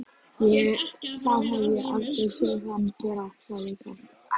Það hef ég aldrei séð hann gera sagði Karl.